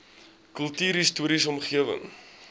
kultuurhis toriese omgewing